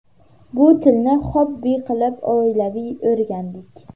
Bu tilni xobbi qilib oilaviy o‘rgandik.